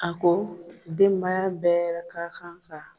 A ko denbaya bɛɛ ka kan ka